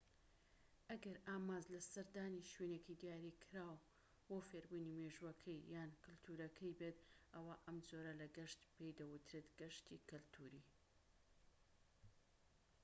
ئەگەر ئامانج لە سەردانی شوێنێکی دیاریکراو بۆ فێربوونی مێژووەکەی یان کەلتورەکەی بێت ئەوا ئەم جۆرە لە گەشت پێی دەوترێت گەشتی کەلتوری